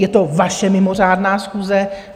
Je to vaše mimořádná schůze.